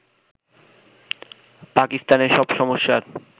পাকিস্তানের সব সমস্যার